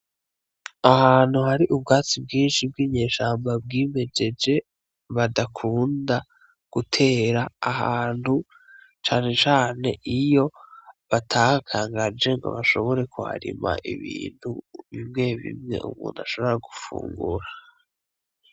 Ahantu hari ubwatsi bwinshi bw'inyeshamba bwimejeje badakunda gutera ahantu cane cane iyo batahakangaje ngo bashobore kuharima ibintu bimwe bimwe umuntu ashobora gufungura.